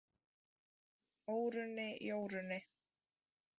Órunni, Jórunni,